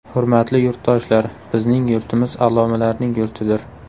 Hurmatli yurtdoshlar, bizning yurtimiz allomalarning yurtidir.